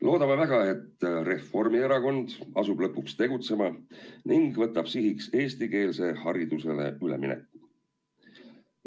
Loodame väga, et Reformierakond asub lõpuks tegutsema ning võtab sihiks eestikeelsele haridusele ülemineku.